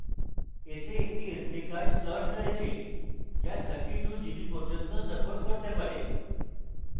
এতে এটি sd card slot রয়েছে যা 32gb পর্যন্ত support করতে পারে